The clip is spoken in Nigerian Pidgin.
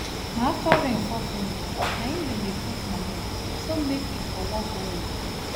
na after rain fall finish na im dem dey put manure so make e for work well um